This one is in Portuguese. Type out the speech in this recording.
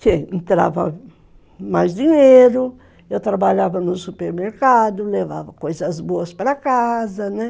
Que entrava mais dinheiro, eu trabalhava no supermercado, levava coisas boas para casa, né?